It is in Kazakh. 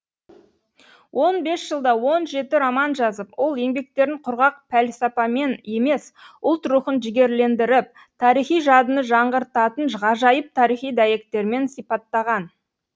он бес жылда он жеті роман жазып ол еңбектерін құрғақ пәлсапамен емес ұлт рухын жігерлендіріп тарихи жадыны жаңғыртатын ғажайып тарихи дәйектермен сипаттаған